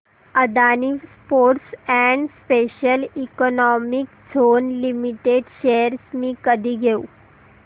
Adani ports and special economic zone limited shares मी कधी घेऊ